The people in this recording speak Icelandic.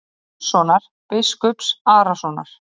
Jónssonar, biskups Arasonar.